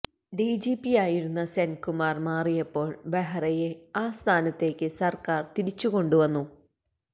ഡിജിപിയായിരുന്ന സെന്കുമാര് മാറിയപ്പോള് ബെഹ്റയെ ആ സ്ഥാനത്തേക്ക് സര്ക്കാര് തിരിച്ചു കൊണ്ടു വന്നു